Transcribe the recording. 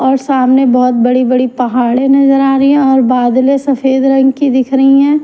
और सामने बहुत बड़ी-बड़ी पहाड़े नजर आ रहीहऔर बादलें सफेद रंग की दिख रही है ।